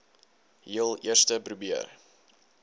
heel eerste probeer